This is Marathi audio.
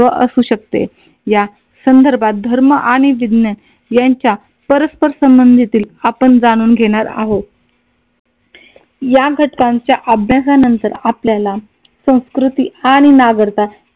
संदर्भात धर्म आणि विज्ञान यांच्या परस्पर संबंधितील आपण जाणून घेणार आहोत. या घटकांच्या अभ्यासानंतर आपल्याला संस्कृती आणि